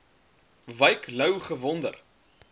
wyk louw gewonder